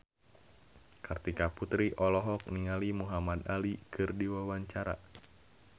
Kartika Putri olohok ningali Muhamad Ali keur diwawancara